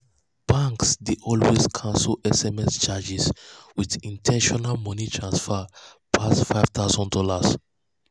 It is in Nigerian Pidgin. banks dey always cancel sms charges when international money transfer pass five thousand dollars.